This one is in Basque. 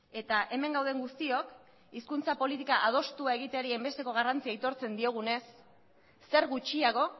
eta hemen gauden guztiok hizkuntza politika adostua egiteari hainbesteko garrantzia aitortzen diogunez zer gutxiago